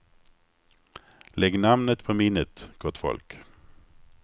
Lägg namnet på minnet, gott folk.